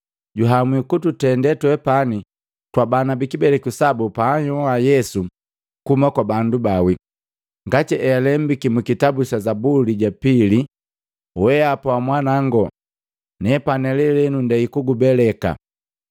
juhamwi kututende twepani twaka kibeleku sabu paanhyoa Yesu kuhuma kwa bandu baawi. Ngati healembiki mu kitabu sa zabuli japili, ‘Weapa wa Mwanawango, nepani lelenu ndei kukubeleka.’ ”